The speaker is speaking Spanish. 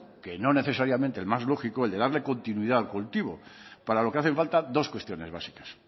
que no necesariamente el más lógico el de darle continuidad al cultivo para lo que hacen falta dos cuestiones básicas